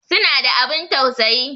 Suna da abun tausayi